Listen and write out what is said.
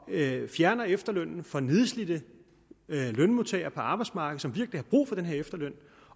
fjerner efterlønnen for nedslidte lønmodtagere på arbejdsmarkedet som virkelig har brug for den her efterløn